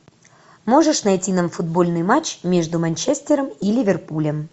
можешь найти нам футбольный матч между манчестером и ливерпулем